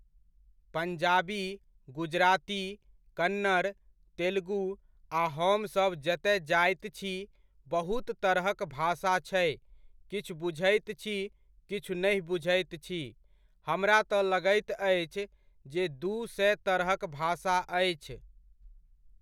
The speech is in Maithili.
पञ्जाबी, गुजराती, कन्नड़, तेलगु आ हमसभ जतय जाइत छी, बहुत तरहक भाषा छै किछु बुझैत छी किछु नहि बुझैत छी। हमरा तऽ लगैत अछि जे दू सए तरहक भाषा अछि।